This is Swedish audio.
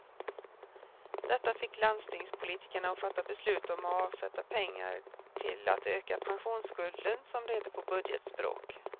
Detta fick landstingspolitikerna att fatta beslut om att avsätta pengar till att öka pensionsskulden, som det heter på budgetspråk.